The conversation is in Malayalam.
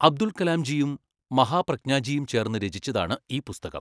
അബ്ദുൾ കലാം ജിയും മഹാപ്രജ്ഞാജിയും ചേർന്ന് രചിച്ചതാണ് ഈ പുസ്തകം.